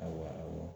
Awɔ